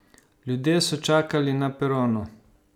Ljudje so čakali na peronu.